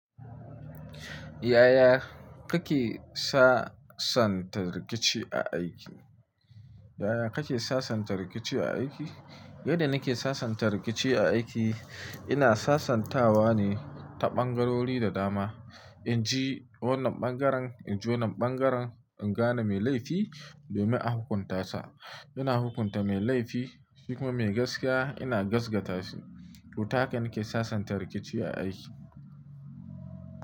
Yaya kake sasanta rikici a aiki? Yaya kake sasanta rikici a aiki? Yadda nake sasanta rikici a aiki, ina sasantawa ne ta ɓangarori da dama. In ji wannan ɓangaren, in ji wannan ɓangaren, in gane me laifi domin a hukunta sa. Ina hukunta me laifi, shi kuma me gaskiya ina gaskata shi. Toh ta haka nake sasanta rikici a aiki.